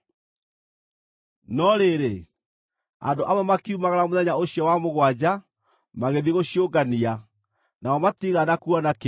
No rĩrĩ, andũ amwe makiumagara mũthenya ũcio wa mũgwanja, magĩthiĩ gũciũngania, nao matiigana kuona kĩndũ.